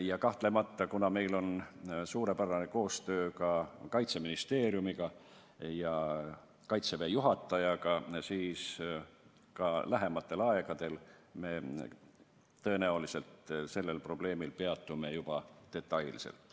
Ja kahtlemata, kuna meil on suurepärane koostöö ka Kaitseministeeriumiga ja Kaitseväe juhatajaga, siis lähimal ajal me tõenäoliselt peatume sellel probleemiljuba detailselt.